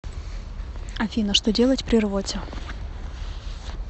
афина что делать при рвоте